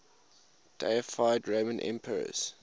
deified roman emperors